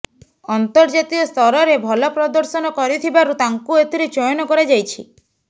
ଅନ୍ତର୍ଜାତୀୟ ସ୍ତରରେ ଭଲ ପ୍ରଦର୍ଶନ କରିଥିବାରୁ ତାଙ୍କୁ ଏଥିରେ ଚୟନ କରାଯାଇଛି